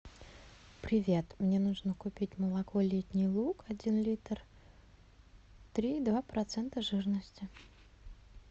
привет мне нужно купить молоко летний луг один литр три и два процента жирности